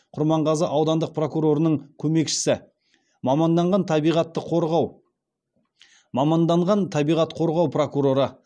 құрманғазы аудандық прокурорының көмекшісі маманданған табиғатты қорғау маманданған табиғат қорғау прокуроры